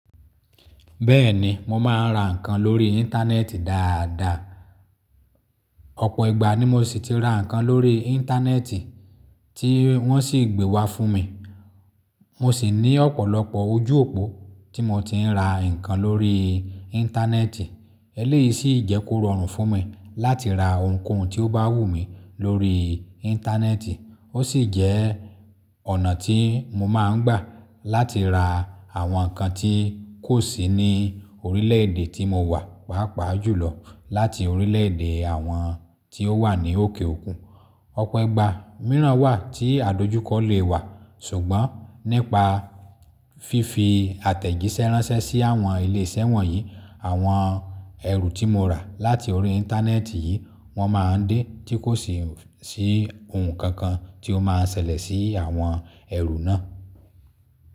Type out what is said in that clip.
Bẹ́ẹ̀ni mo máa ń ra nǹkan lórí íńtánẹ́ẹ̀tì dáadáa. Ọ̀pọ̀ ìgbà ni mo ṣì tí ra nǹkan lórí íńtánẹ́ẹ̀tì tí wọ́n sì gbé wá fún mi. Mo ṣì ní ọ̀pọ̀lọpọ̀ ojú òpó tí mo ti ń ra nǹkan lórí íńtánẹ́ẹ̀tì. Ẹ̀léyìí ṣì ì jẹ́ kó rọrùn fún mi láti ra ohuǹkóhun tí ó bá wù mi lórí íńtánẹ́ẹ̀tì. Ó ṣì jẹ́ ọ̀nà tí mo máa ń gbà láti ra àwọn nǹkan tí kò sí ní orílẹ̀-èdè tí mo wà pàápàá jùlọ láti orílẹ̀-èdè àwọn tí ó wà ní òkè òkun. Ọ̀pọ̀ ìgbà mìíràn wà tí àdojúkọ lè wà ṣùgbọ́n nípa fífi àtẹ̀jíṣẹ́ ránṣẹ́ sí àwọn ilé iṣẹ́ wọ̀nyí, àwọn ẹrù tí mo rà láti orí íńtánẹ́ẹ̀tì yìí, wọ́n máa ń dé tí kò sì sí ohuǹkóhun tí ó máa ṣẹlẹ̀ sí àwọn ẹrù náà.